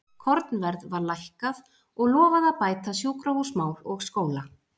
Kornverð var lækkað og lofað að bæta sjúkrahúsmál og skóla.